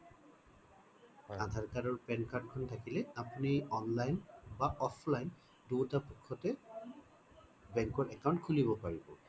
আধাৰ card আৰু pan card খন থাকিলে আপুনি সেই online বা offline দুইটা পক্ষতে bank ত account খুলিব পাৰিব